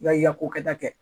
Ya ko kɛ da kɛ kɛ